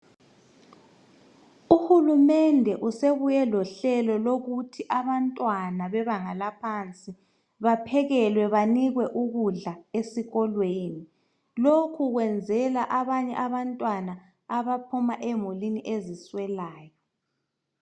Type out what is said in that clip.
Uhulumende usebuye lohlelo lokuthi abantwana bebanga laphansi baphekelwe banikwe ukudla esikolweni. Lokhu kwenzelwa abanye abantwana abaphuma emulini eziswelayo.